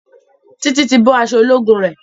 Titi tí bó aṣọ ológun re.